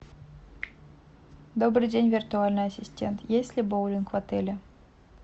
добрый день виртуальный ассистент есть ли боулинг в отеле